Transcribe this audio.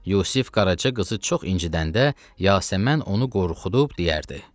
Yusif Qaraca qızı çox incidəndə, Yasəmən onu qorxudub deyərdi: